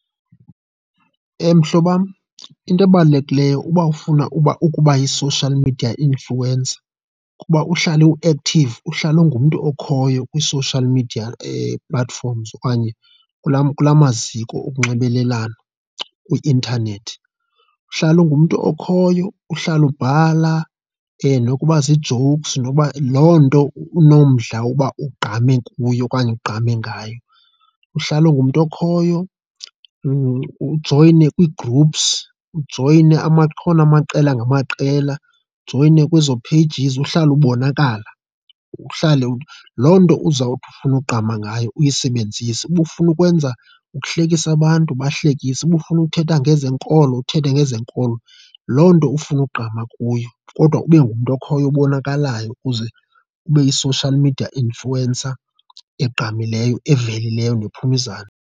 Mhlobo wam, into ebalulekileyo uba ufuna uba ukuba yi-social media influencer kuba uhlale u-active, uhlale ungumntu okhoyo kwii-social media platforms okanye kulaa kulaa maziko onxibelelwano kwi-intanethi. Uhlale ungumntu okhoyo uhlale ubhala nokuba zii-jokes noba, loo nto unomdla uba ugqame kuye okanye ugqame ngayo. Uhlale ungumntu okhoyo, ujoyine kwi-groups, ujoyine akhona amaqela ngamaqela, ujoyine kwezo pages, uhlale ubonakala, uhlale. Loo nto uzawuthi ufune ugqama ngayo uyisebenzise. Uba ufuna ukwenza ukuhlekisa abantu ubahlekise, uba ufuna ukuthetha ngezenkolo, uthethe yezenkolo. Loo nto ufuna ugqama kuyo kodwa ube ngumntu okhoyo obonakalayo ukuze ube yi-social media influencer egqamileyo, evelileyo nephume .